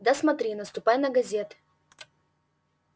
да смотри наступай на газеты